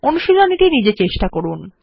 অনুশীলনী টি নিজে চেষ্টা করুন